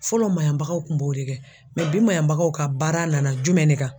Fɔlɔ maɲabagaw kun b'o de kɛ bi maɲabagaw ka baara nana jumɛn de kan?